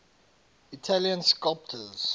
italian sculptors